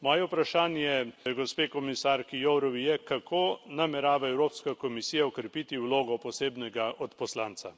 Moje vprašanje gospe komisarki Jourovi je, kako namerava Evropska komisija okrepiti vlogo posebnega odposlanca.